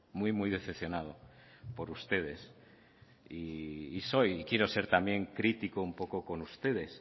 muy muy decepcionado por ustedes y soy y quiero ser también crítico un poco con ustedes